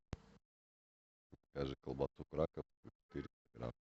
закажи колбасу краковскую четыреста грамм